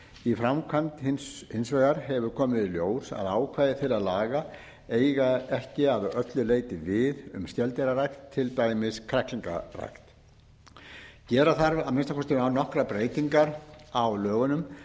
í framkvæmd hefur hins vegar komið í ljós að ákvæði þeirra laga eiga ekki að öllu leyti við um skeldýrarækt til dæmis kræklingarækt gera þarf að minnsta kosti nokkrar breytingar á lögunum